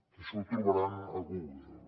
això ho trobaran a google